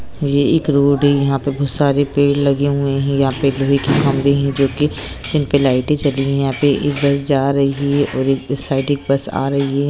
ये एक रोड है यहाँ पे बहुत सारे पेड़ लगे हुए हैं यहाँ पे एक लोहे के खम्बे हैं जो कि जिनपे लाइटे जली हुई हैं यहाँ पे एक बस जा रही है और एक उस साइड एक बस आ रही है।